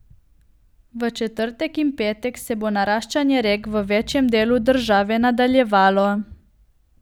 V četrtek in petek se bo naraščanje rek v večjem delu države nadaljevalo.